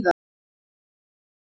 Jú, auðvitað, sagði Lóa.